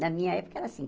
Na minha época era assim.